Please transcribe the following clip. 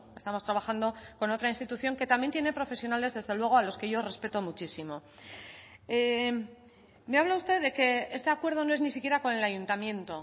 estamos trabajando con otra institución que también tiene profesionales desde luego a lo que yo respeto muchísimo me habla usted de que este acuerdo no es ni siquiera con el ayuntamiento